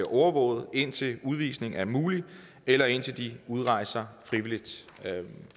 overvåget indtil udvisning er mulig eller indtil de udrejser frivilligt